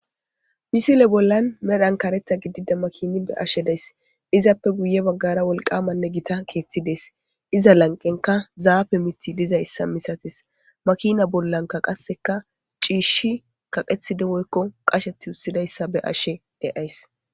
misile bollan medhan kareta gidida makini be ashedays izappe guye baggara wolqamanne gita keethtidees iza lanqenka zaafe miti diza issa misatis makina bollanka qasseka ciishi kaqethide moykko qashet ussidayssa be ashe deays